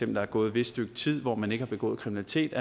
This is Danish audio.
der er gået et vist stykke tid hvor man ikke har begået kriminalitet